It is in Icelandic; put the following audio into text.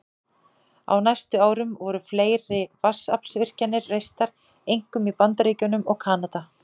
Á næstu árum voru fleiri vatnsaflsvirkjanir reistar, einkum í Bandaríkjunum og Kanada.